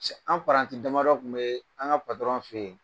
Cɛ anw paranti damadɔ tun bee an' ŋa fe ye.